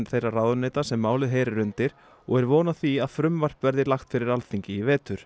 þeirra ráðuneyta sem málið heyrir undir og er von á því að frumvarp verði lagt fyrir Alþingi í vetur